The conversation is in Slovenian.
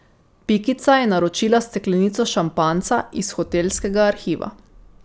Pikica je naročila steklenico šampanjca iz hotelskega arhiva.